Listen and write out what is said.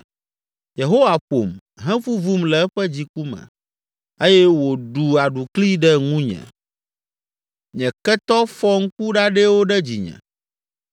Yehowa ƒom, hevuvum le eƒe dziku me eye wòɖu aɖukli ɖe ŋunye, nye ketɔ fɔ ŋku ɖaɖɛwo ɖe dzinye.